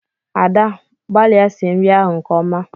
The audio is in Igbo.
Ada! gbalịa sie nri ahụ nke ọma!